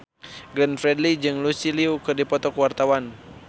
Glenn Fredly jeung Lucy Liu keur dipoto ku wartawan